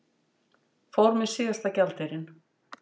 Fór með síðasta gjaldeyrinn